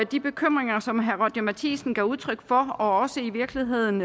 de bekymringer som herre roger courage matthisen gav udtryk for og i virkeligheden